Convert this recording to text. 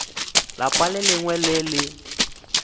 lapa le lengwe le le